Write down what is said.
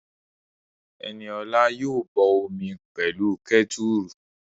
Ẹniola yóò bọ omi pẹ̀lú kẹ́tùrù